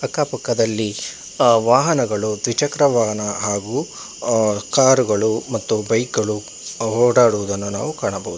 ಅಕ್ಕ ಪಕ್ಕದಲ್ಲಿ ಆ ವಾಹನಗಳು ದ್ವಿಚಕ್ರವಾಹನ ಹಾಗು ಕಾರುಗಳು ಮತ್ತು ಬೈಕಗಳು ಹೊಡ್ದಡುವುದನ್ನು ಕಾಣಬಹುದು.